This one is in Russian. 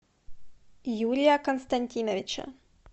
юрия константиновича